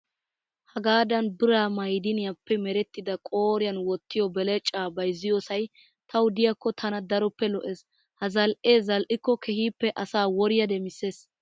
Hagaadan biraa mayidiniyaappe merettida qooriyan wottiyoo belecaa bayizziyoosayi tawu diyaakko tana daroppe lo''es. Ha zal''ee zal''ikko keehippe asaa woriyaa demisses.